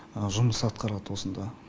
жұмыс атқарады осында